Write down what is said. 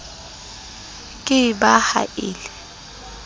ke ba ha e le